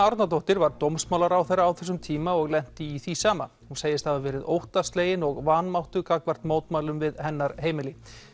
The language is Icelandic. Árnadóttir var dómsmálaráðherra á þessum tíma og lenti í því sama hún segist hafa verið óttaslegin og vanmáttug gagnvart mótmælum við hennar heimili